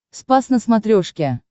спас на смотрешке